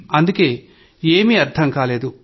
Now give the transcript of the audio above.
అందుకే ఏమీ అర్థం కాలేదు